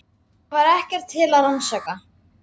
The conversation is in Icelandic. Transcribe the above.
Það var ekkert til að rannsaka.